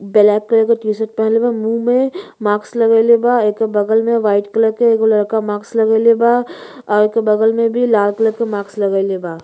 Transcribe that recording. Black colour के t shirt पहिनले बा। मुँह में माक्स लगाएल बा। एके बगल में वाइट कलर के एगो लड़का माक्स लगईले बा। ओके बगल में भी लाल कलर के माक्स लगईले बा।